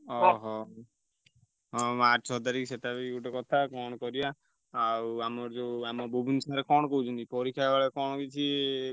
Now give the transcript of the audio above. ଅହ! ହଁ March ଛଅ ତାରିଖ୍ ସେଟା ବି ଗୋଟେ କଥା କଣ କରିଆ। ଆଉ ଆମର ଯୋଉ ଆମ ବୁବୁନ sir କଣ କହୁଛନ୍ତି ପରୀକ୍ଷା କେତବେଳେ କଣ କିଛି ।